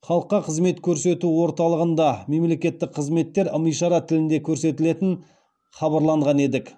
халыққа қызмет көрсету орталығында мемлекеттік қызметтер ым ишара тілінде көрсетілетін хабарланған едік